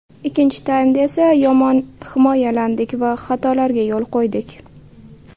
Ikkinchi taymda esa yomon himoyalandik va xatolarga yo‘l qo‘ydik.